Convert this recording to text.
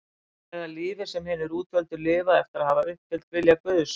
Er það lífið sem hinir útvöldu lifa eftir að hafa uppfyllt vilja Guðs?